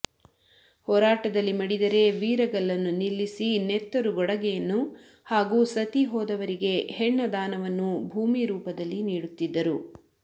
ಹೋರಾಟದಲ್ಲಿ ಮಡಿದರೆ ವೀರಗಲ್ಲನ್ನು ನಿಲ್ಲಿಸಿ ನೆತ್ತರುಗೊಡಗೆಯನ್ನು ಹಾಗೂ ಸತಿ ಹೋದವರಿಗೆ ಹೆಣ್ಣದಾನವನ್ನೂ ಭೂಮಿ ರೂಫದಲ್ಲಿ ನೀಡುತ್ತಿದ್ದರು